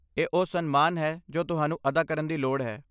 ਇਹ ਉਹ ਸਨਮਾਨ ਹੈ ਜੋ ਤੁਹਾਨੂੰ ਅਦਾ ਕਰਨ ਦੀ ਲੋੜ ਹੈ।